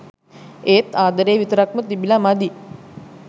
ඒත් ආදරේ විතරක්ම තිබිලා මදි.